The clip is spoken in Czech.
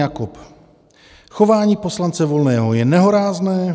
Jakob: Chování poslance Volného je nehorázné.